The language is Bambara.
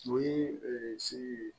O ye siri ye